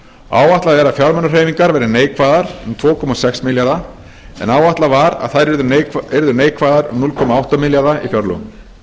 áætlað er að fjármunahreyfingar verði neikvæðar um tvö komma sex milljarða en áætlað var að þær yrðu neikvæðar um núll komma átta milljarða í fjárlögum